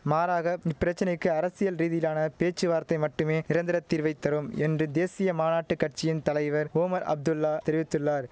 மாறாக இப்பிரச்சனைக்கு அரசியல் ரீதியிலான பேச்சுவார்த்தை மட்டுமே நிரந்தர தீர்வை தரும் என்று தேசிய மாநாட்டு கட்சியின் தலைவர் ஓமர் அப்துல்லா தெரிவித்துள்ளார்